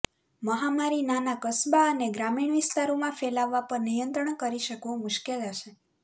મહામારી નાના કસ્બા અને ગ્રામીણ વિસ્તારોમાં ફેલાવવા પર નિયંત્રણ કરી શકવું મુશ્કેલ હશે